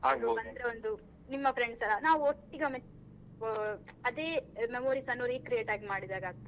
ನಿಮ್ಮ friends ಎಲ್ಲ ನಾವ್ ಒಟ್ಟಿಗೆ ಒಮ್ಮೆ ಆ ಅದೆ memories ಅನ್ನು recreate ಮಾಡಿದಾಗೆ ಆಗ್ತದೆ.